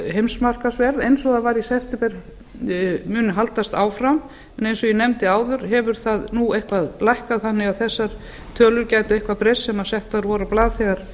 eins og það var í september mun haldast áfram en eins og ég nefndi áður hefur það nú eitthvað lækkað þannig að þessar tölur gætu eitthvað breyst sem settar voru á blað þegar